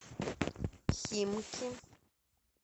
химки